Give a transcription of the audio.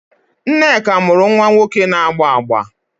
Nneka mụrụ nwa nwoke na-agba agba